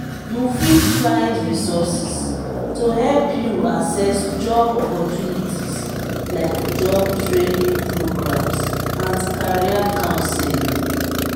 you fit find resources to help you access job opportunites like job training programs and career counseling.